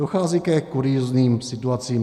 Dochází ke kuriózním situacím.